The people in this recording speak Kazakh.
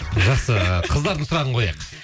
жақсы қыздардың сұрағын қояйық